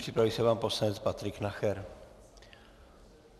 Připraví se pan poslanec Patrik Nacher.